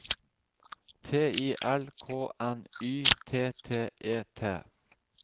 T I L K N Y T T E T